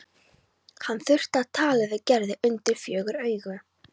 Hann þurfti að tala við Gerði undir fjögur augu.